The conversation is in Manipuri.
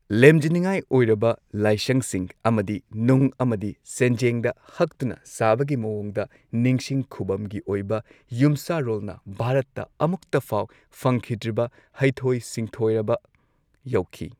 ꯂꯦꯝꯖꯅꯤꯉꯥꯏꯑꯣꯢꯔꯕ ꯂꯥꯏꯁꯪꯁꯤꯡ ꯑꯃꯗꯤ ꯅꯨꯡ ꯑꯃꯗꯤ ꯁꯦꯟꯖꯦꯡꯗ ꯍꯛꯇꯨꯅ ꯁꯥꯕꯒꯤ ꯃꯑꯣꯡꯗ ꯅꯤꯡꯁꯤꯡ ꯈꯨꯕꯝꯒꯤ ꯑꯣꯏꯕ ꯌꯨꯝꯁꯥꯔꯣꯜꯅ ꯚꯥꯔꯠꯇ ꯑꯃꯨꯛꯇꯐꯥꯎ ꯐꯪꯈꯤꯗ꯭ꯔꯤꯕ ꯍꯩꯊꯣꯢ ꯁꯤꯡꯊꯣꯢꯔꯕ ꯌꯧꯈꯤ꯫